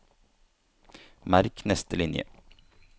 Merk neste linje